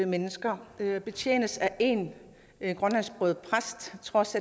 mennesker betjenes af én grønlandsksproget præst til trods